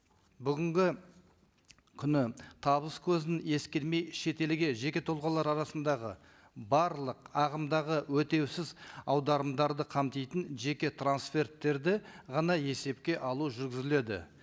бүгінгі күні табыс көзін ескермей шетелге жеке тұлғалар арасындағы барлық ағымдағы өтеусіз аударымдарды қамтитын жеке трансферттерді ғана есепке алу жүргізіледі